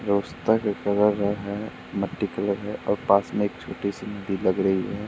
जो रस्था का कलर र है मट्टी कलर है और पास में एक छोटी सी नदी लग रही है।